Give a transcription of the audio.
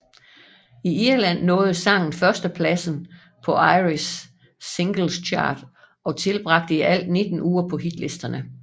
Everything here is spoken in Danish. I Irland nåede sangen førstepladsen på Irish Singles Chart og tilbragte i alt 19 uger på hitlisterne